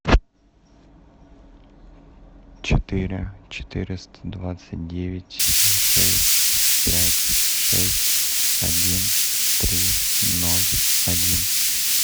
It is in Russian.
четыре четыреста двадцать девять шесть пять шесть один три ноль один